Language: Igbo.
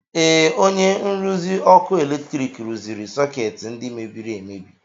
Ee, onye nruzi ọkụ eletrik rụziri sọkeetị ndị mebiri emebi.